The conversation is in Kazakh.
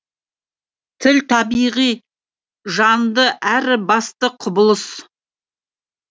тіл табиғи жанды әрі басты құбылыс